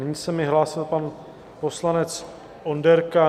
Nyní se mi hlásil pan poslanec Onderka.